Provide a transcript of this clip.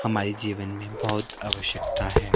हमारे जीवन में बहोत आवश्यकता है।